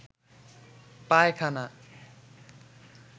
পায়খানা